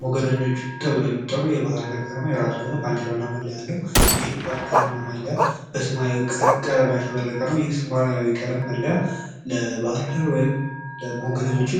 ሞገደኞቹ ተብለው የሚጠሩት ባህር ዳር ከነማ የራሱ የሆነ ባንዲራ እና መለያ አለው። ይህ ባንዲራ እና መለያ በሰማያዊ ቀለም ያሸበረቀ ነው። ይህ ሰማያዊ ቀለም መለያ ለባህር ዳር ወይም ለሞገደኞቹ